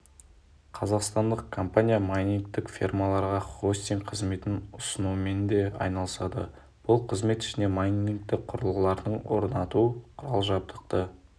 қазақстандық компания майнингтік фермаларға хостинг қызметін ұсынумен де айналысады бұл қызмет ішіне майнинг құрылғыларын орнату құрал-жабдықты